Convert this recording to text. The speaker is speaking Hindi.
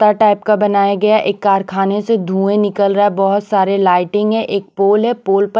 टाइप का बनाया गया है एक कारखाने से धुएं निकल रहा है बहुत सारे लाइटिंग है एक पोल है पोल पर --